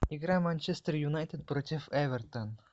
игра манчестер юнайтед против эвертон